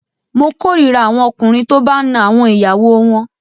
Mo korira àwọn ọkùnrin tó bá a ń na àwọn ìyàwó wọn.